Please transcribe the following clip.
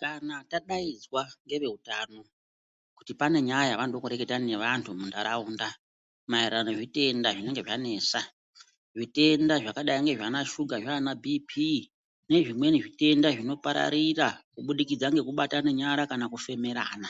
Kana tadaidzwa ngeve utano kuti pane nyaya yavanoda kureketa ne vantu mu ndaraunda maererano ne zvitenda zvinenge zva nesa zvitenda zvakadai nana shuga ana bp nezvimweni zvitenda zvinoparararira kubudikidza neku batana nyara kufemerana